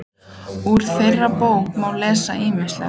Úr þeirri bók má lesa ýmislegt.